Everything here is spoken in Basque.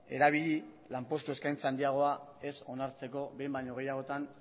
erabili lanpostu eskaintza handiagoa ez onartzeko behin baino gehiagotan